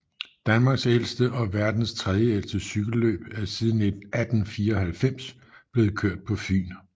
Danmarks ældste og verdens tredjeældste cykelløb er siden 1894 blevet kørt på Fyn